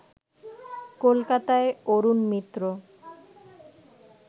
কলকাতায় অরুণ মিত্র